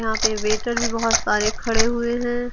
यहां पे वेटर भी बहोत सारे खड़े हुए हैं।